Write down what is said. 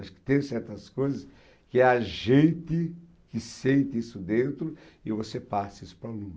Acho que tem certas coisas que é a gente que sente isso dentro e você passa isso para o aluno.